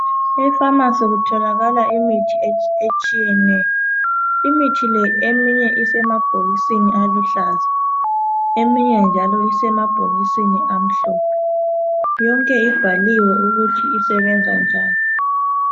efamasi kutholakala imithi etshiyeneyo imithi le eminye isembhokisini aluhlaza eminye isemabhokisini amhlophe yonke ibhaliwe ukuthi isebenza njani